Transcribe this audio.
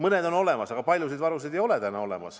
Üht-teist on olemas, aga paljusid varusid täna veel ei ole.